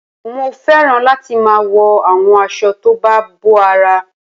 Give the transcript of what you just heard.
Mo fẹ́ràn láti máa wo àwọn aṣọ tó bá bo ara